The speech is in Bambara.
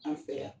An fɛ yan